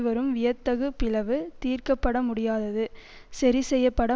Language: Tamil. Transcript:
வரும் வியத்தகு பிளவு தீர்க்கப்படமுடியாதது சரிசெய்யப்பட